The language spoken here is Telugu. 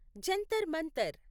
జంతర్ మంతర్